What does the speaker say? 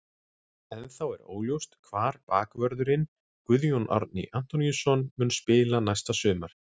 Ennþá er óljóst hvar bakvörðurinn Guðjón Árni Antoníusson mun spila næsta sumar.